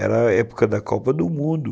Era a época da Copa do Mundo.